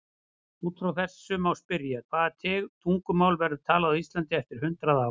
Út frá þessu má spyrja: Hvaða tungumál verður talað á Íslandi eftir hundrað ár?